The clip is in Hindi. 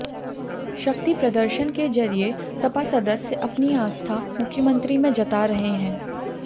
शक्ति प्रदर्शन के जरिए सपा सदस्य अपनी आस्था मुख्यमंत्री में जता रहे हैं